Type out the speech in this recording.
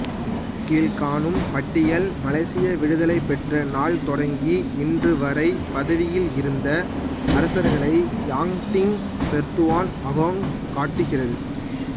கீழ்க்காணும் பட்டியல் மலேசிய விடுதலைப்பெற்ற நாள் தொடங்கி இன்றுவரை பதவியில் இருந்த அரசர்களைக் யாங் டி பெர்துவான் அகோங் காட்டுகிறது